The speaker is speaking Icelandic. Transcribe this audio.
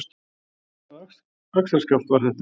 Hvaða axarskaft var þetta?